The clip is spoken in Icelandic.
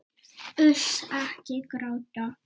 Uss, ekki gráta.